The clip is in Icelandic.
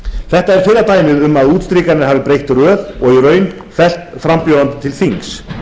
þetta er fyrra dæmið um að útstrikanir hafi breytt röð og í raun fellt frambjóðanda til þings